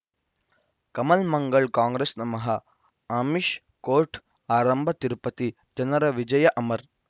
ಕಮಲ್ ಮಂಗಳ್ ಕಾಂಗ್ರೆಸ್ ನಮಃ ಅಮಿಷ್ ಕೋರ್ಟ್ ಆರಂಭ ತಿರುಪತಿ ಜನರ ವಿಜಯ ಅಮರ್